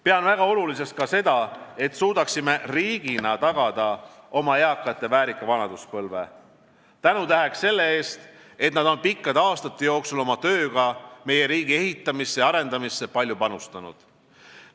Pean väga oluliseks ka seda, et suudaksime riigina tagada oma eakate väärika vanaduspõlve tänutäheks selle eest, et nad on pikkade aastate jooksul oma tööga meie riigi ehitamisse ja arendamisse palju panustanud.